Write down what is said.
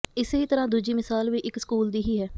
ਇਸੇ ਹੀ ਤਰ੍ਹਾਂ ਦੂਜੀ ਮਿਸਾਲ ਵੀ ਇੱਕ ਸਕੂਲ ਦੀ ਹੀ ਹੈ